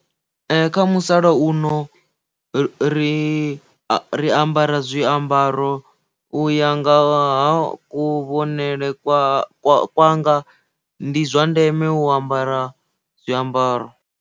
Kha musala uno ri ri ambara zwiambaro u ya nga ha kuvhonele kwanga ndi zwa ndeme u ambara zwiambaro.